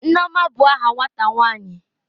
Nneoma bu aha nwata nwanyi.